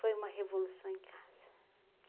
Foi uma revolução em casa.